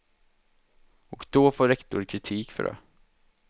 Och då får rektor kritik för det.